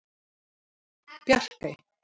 Bjarkey